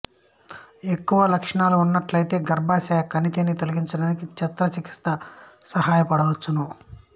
ఎక్కువ లక్షణాలు ఉన్నట్లయితే గర్భాశయ కణితిని తొలగించడానికి శస్త్ర చికిత్స సహాయపడవచ్చు